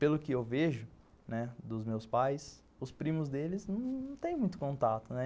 Pelo que eu vejo, né, dos meus pais, os primos deles não têm muito contato, né.